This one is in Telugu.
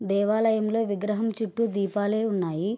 దేవాలయం లో ఈ విగ్రహం చుట్టూ దీపాలే ఉన్నాయి.